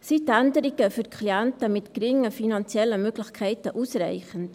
Sind die Änderungen für Klienten mit geringen finanziellen Möglichkeiten ausreichend?